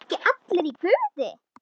ERU EKKI ALLIR Í GUÐI?